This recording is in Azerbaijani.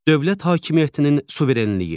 Dövlət hakimiyyətinin suverenliyi.